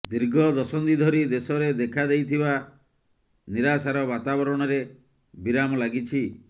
ଦୀର୍ଘ ଦଶନ୍ଧି ଧରି ଦେଶରେ ଦେଖାଦେଇଥିବା ନିରାଶାର ବାତାବରଣରେ ବିରାମ ଲାଗିଛି